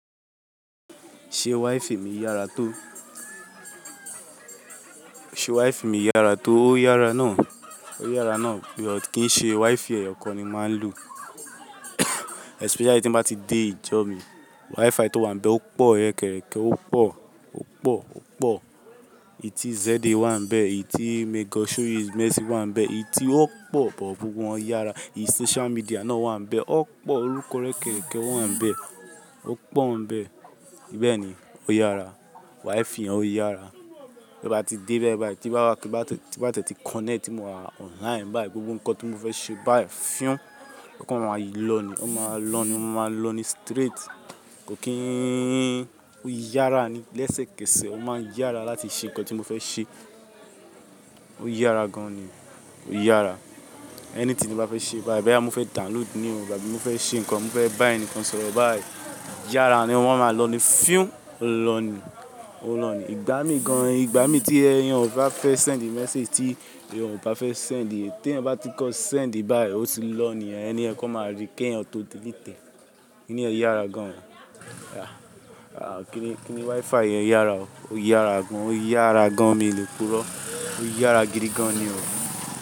Ṣé Wi-Fi mi yára tó? Ṣe Wi-Fi mi yára tó? Ó yára náà, ó yára náà. But kì í ṣe Wi-Fi ẹ̀yọ̀ kan ni máa ń lo especially tí mo bá ti dé ìjọ mi. Wi-Fi tó wà ńbẹ̀ ó pọ̀, ẹkẹrẹkẹ ó pọ̀, ó pọ̀, ó pọ̀. Èyí tí ZED wà ńbẹ̀, èyí tí Meggosh Show his Mercy wà ńbẹ̀, èyí tí ó pọ̀ bọ̀ gbogbo wọn yára. Èyí social media náà wà ńbẹ̀, ó pọ̀, orúkọ rẹ̀ kẹ̀kẹ́ wà ńbẹ̀, ó pọ̀ ńbẹ̀. Bẹ́ẹ̀ ni, ó yára. Wi-Fi yẹn ó yára. Bí mo bá ti dé bẹ́ẹ̀ báyìí, ti bá, ti bá tẹ́ tí connect, ti mo wà online báyìí, gbogbo nǹkan tí mo fẹ́ ṣe báyìí fúùn, o kan máa máa lọ ni. Wọ́n máa lọ ni, mo máa lọ ni straight. Kò kín, ó yára ni lẹ́sẹ̀kẹsẹ̀. Ó máa ń yára láti ṣe nǹkan tí mo fẹ́ ṣe. Ó yára gan ni, ó yára. Anything ti bá fẹ́ ṣe báyìí, boyá, mo fẹ́ download ní ò àbí mo fẹ́ ṣe nǹkan, mo fẹ́ bá ẹnìkan sọ̀rọ̀ báyìí, yára ni wọ́n máa lọ ni. Fúùn ó lọ ni, ó lọ ni. Ìgbá mí gan, ìgbá mí tí eyan ba fẹ́ send message tí eyan ba fẹ́ send, tí eyan ba ti kọ send báyìí, ó ti lọ ni e ẹni yẹn kọ́ máa rí keyan tò dilití e. Kíní yẹ́ yára gan o. Ah! Ah! Kíní, kíní Wi-Fi yẹn yára o. Ó yára gan. Ó yára gan, mi lè purọ́. Ó yára gidi gan ni o.